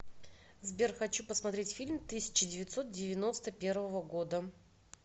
сбер хочу посмотреть фильм тысяча девятьсот девяносто первого года